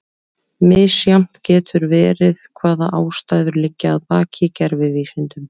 Misjafnt getur verið hvaða ástæður liggja að baki gervivísindum.